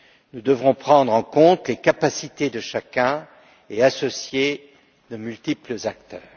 Nous devrons prendre en compte les capacités de chacun et associer de multiples acteurs.